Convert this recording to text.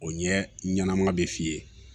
O ɲɛ ɲɛnama be f'i ye